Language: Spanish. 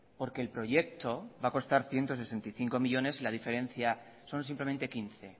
porque el proyecto va a costar ciento sesenta y cinco millónes y la diferencia son simplemente quince